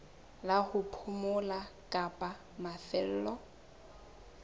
la ho phomola kapa mafelo